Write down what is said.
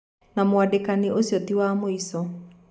Na wandĩkani ũcio ti wa mwĩco.